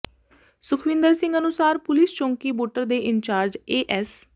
ਸੁਖਵਿੰਦਰ ਸਿੰਘ ਅਨੁਸਾਰ ਪੁਲਿਸ ਚੌਂਕੀ ਬੁੱਟਰ ਦੇ ਇੰਚਾਰਜ ਏ ਐਸ